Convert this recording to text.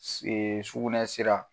S sugunɛ sira